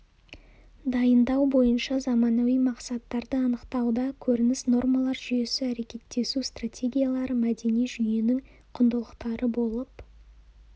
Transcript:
дайындау бойынша заманауи мақсаттарды анықтауда көрініс нормалар жүйесі әрекеттесу стратегиялары мәдени жүйенің құндылықтары болып